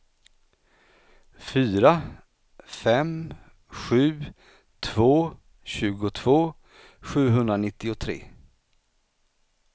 fyra fem sju två tjugotvå sjuhundranittiotre